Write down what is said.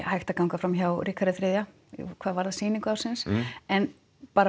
hægt að ganga fram hjá Ríkharði þriðja hvað varðar sýningu ársins en